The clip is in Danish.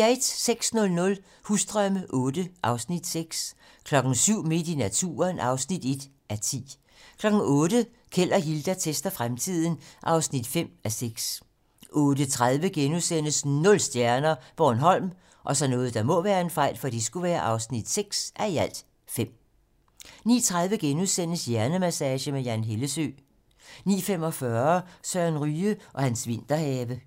06:00: Husdrømme VIII (Afs. 6) 07:00: Midt i naturen (1:10) 08:00: Keld og Hilda tester fremtiden (5:6) 08:30: Nul stjerner - Bornholm (6:5)* 09:30: Hjernemassage med Jan Hellesøe * 09:45: Søren Ryge og hans vinterhave